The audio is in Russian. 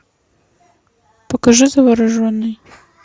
покажи завороженный